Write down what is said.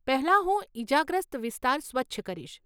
પહેલાં, હું ઈજાગ્રસ્ત વિસ્તાર સ્વચ્છ કરીશ.